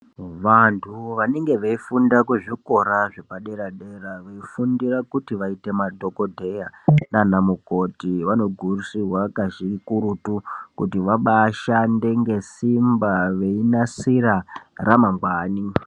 Vantu vanenge veifunda kuzvikora zvepa dera dera kufundira kuti vaite madhokodheya nanamukoti vanokurudzirwa kakurutu kuti vabashande ngeSimba veinasira ramangwani.